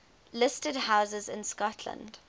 listed houses in scotland